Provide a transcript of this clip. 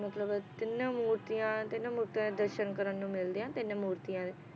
ਮਤਲਬ ਤਿੰਨੇ ਮੂਰਤੀਆਂ ਤਿੰਨ ਮੂਰਤੀਆਂ ਦੇ ਦਰਸ਼ਨ ਕਰਨ ਨੂੰ ਮਿਲਦੇ ਆ ਤਿੰਨ ਮੂਰਤੀਆਂ ਦੇ